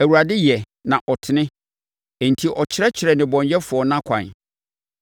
Awurade yɛ, na ɔtene; enti ɔkyerɛkyerɛ nnebɔneyɛfoɔ nʼakwan.